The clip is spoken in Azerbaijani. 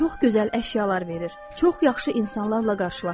Sizə çox gözəl əşyalar verir, çox yaxşı insanlarla qarşılaşdırır.